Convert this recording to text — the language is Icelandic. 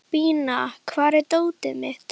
Bína, hvar er dótið mitt?